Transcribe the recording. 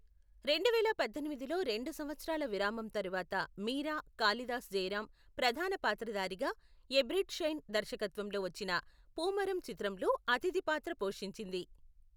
రెండువేల పద్దెనిమిదిలో రెండు సంవత్సరాల విరామం తరువాత మీరా, కాళిదాస్ జయరాం ప్రధాన పాత్రధారిగా ఎబ్రిడ్ షైన్ దర్శకత్వంలో వచ్చిన పూమరం చిత్రంలో అతిథి పాత్ర పోషించింది.